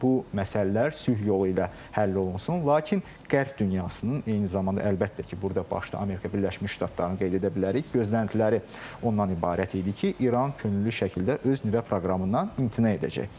Bu məsələlər sülh yolu ilə həll olunsun, lakin qərb dünyasının eyni zamanda əlbəttə ki, burda başlı Amerika Birləşmiş Ştatlarını qeyd edə bilərik, gözləntiləri ondan ibarət idi ki, İran könüllü şəkildə öz nüvə proqramından imtina edəcək.